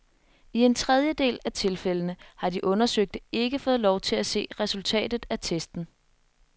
I en tredjedel af tilfældene har de undersøgte ikke fået lov til at se resultatet af testen.